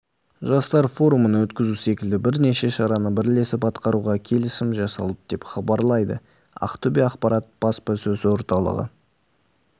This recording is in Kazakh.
жастар форумын өткізу секілді бірнеше шараны бірлесіп атқаруға келісім жасалды деп хабарлайды ақтөбе-ақпарат баспасөз орталығы